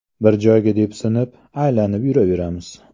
Bir joyda depsinib, aylanib yuraveramiz.